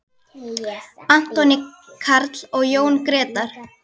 Anthony Karl og Jón Gretar.